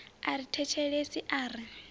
a ri thetshelesi a ri